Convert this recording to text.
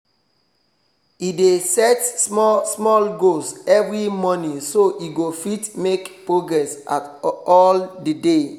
e dey set small small goals every morning so e go fit make progress all the day